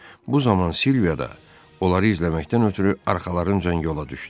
Bu zaman Silviya da onları izləməkdən ötrü arxalarıncan yola düşdü.